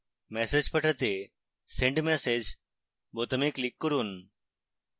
message পাঠাতে send message বোতামে click করুন